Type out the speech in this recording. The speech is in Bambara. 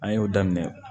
An y'o daminɛ